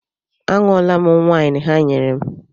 A ṅụọla m waịn ha nyere m.